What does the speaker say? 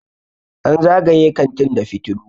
an zagaye kantin da fitilu